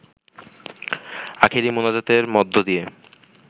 আখেরি মোনাজাতের মধ্য দিয়ে